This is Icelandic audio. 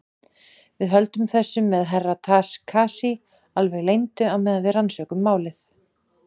Við höldum þessu með Herra Takashi alveg leyndu á meðan við rannsökum málið.